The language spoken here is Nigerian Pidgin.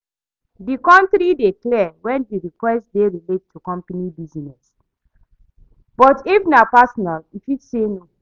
di boundary dey clear when di request dey relate to company business, but if na personal, e fit say no.